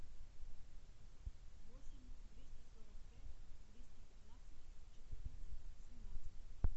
восемь триста сорок пять двести пятнадцать четырнадцать семнадцать